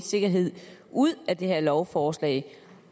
sikkerhed ud af det her lovforslag